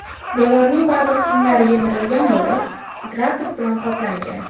Devorning ba’zi qismlari yemirilgan bo‘lib, graffit bilan qoplangan.